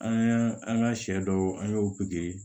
An an ka sɛ dɔw an y'o